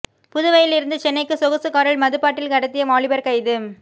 புதுவையில் இருந்து சென்னைக்கு சொகுசு காரில் மதுபாட்டில் கடத்திய வாலிபர் கைது